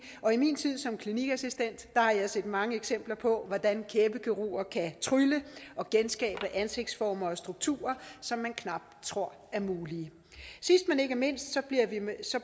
og i min tid som klinikassistent har jeg set mange eksempler på hvordan kæbekirurger kan trylle og genskabe ansigtsformer og strukturer som man knap tror er mulige sidst men ikke mindst